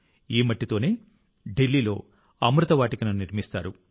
ఈ మట్టితోనే ఢిల్లీలో అమృత వాటికను నిర్మిస్తారు